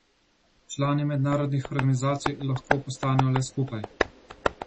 Člani mednarodnih organizacij lahko postanejo le skupaj.